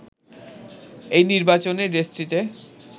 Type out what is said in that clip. এই নির্বাচনে দেশটিতে